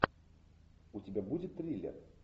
у тебя будет триллер